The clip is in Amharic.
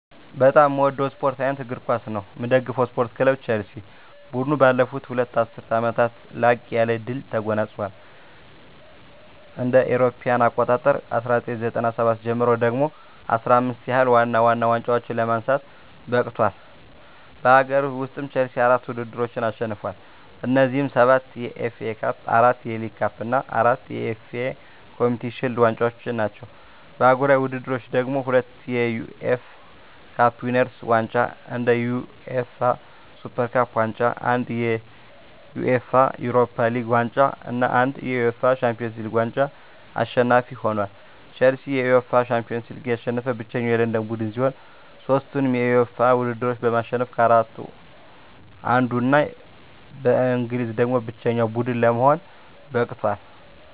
በጣም ምወደው ስፓርት አይነት እግር ኳስ ነው። ምደግፈው ስፓርት ክለብ ቸልሲ። ቡድኑ ባለፉት ሁለት ዐሥርት ዓመታት ላቅ ያለ ድል ተጎናጽፏል። ከእ.ኤ.አ 1997 ጀምሮ ደግሞ 15 ያህል ዋና ዋና ዋንጫዎችን ለማንሳት በቅቷል። በአገር ውስጥ፣ ቼልሲ አራት ውድድሮችን አሸንፏል። እነዚህም፤ ሰባት የኤፍ ኤ ካፕ፣ አራት የሊግ ካፕ እና አራት የኤፍ ኤ ኮምዩኒቲ ሺልድ ዋንጫዎች ናቸው። በአህጉራዊ ውድድሮች ደግሞ፤ ሁለት የዩኤፋ ካፕ ዊነርስ ዋንጫ፣ አንድ የዩኤፋ ሱፐር ካፕ ዋንጫ፣ አንድ የዩኤፋ ዩሮፓ ሊግ ዋንጫ እና አንድ የዩኤፋ ሻምፒዮንስ ሊግ ዋንጫ አሸናፊ ሆኖአል። ቼልሲ የዩኤፋ ሻምፒዮንስ ሊግን ያሸነፈ ብቸኛው የለንደን ቡድን ሲሆን፣ ሦስቱንም የዩኤፋ ውድድሮች በማሸነፍ ከአራቱ አንዱ እና ከእንግሊዝ ደግሞ ብቸኛው ቡድን ለመሆን በቅቷል።